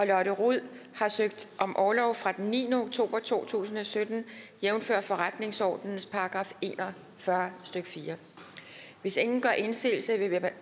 lotte rod har søgt om orlov fra den niende oktober to tusind og sytten jævnfør forretningsordenens § en og fyrre stykke fjerde hvis ingen gør indsigelse